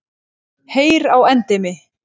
Heyr á endemi!